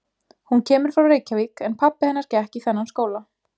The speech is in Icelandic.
Hún kemur frá Reykjavík en pabbi hennar gekk í þennan skóla.